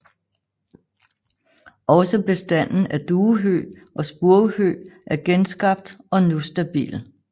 Også bestanden af duehøg og spurvehøg er genskabt og nu stabil